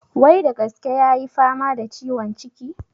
Wai da gaske ya yi fama da ciwon ciki?